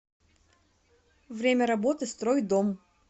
время работы стройдом